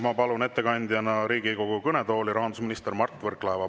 Ma palun Riigikogu kõnetooli ettekandjana rahandusminister Mart Võrklaeva.